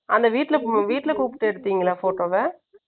அந்த வீட்ல கூப்பிட்டு எடுத்தீங்களா photo வ?